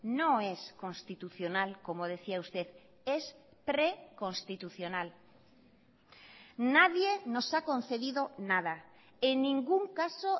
no es constitucional como decía usted es preconstitucional nadie nos ha concedido nada en ningún caso